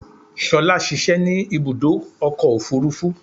Ṣolá ṣiṣẹ́ ní ibùdó ọkọ̀ òfúrúfú.